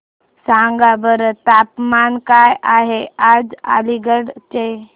सांगा बरं तापमान काय आहे आज अलिगढ चे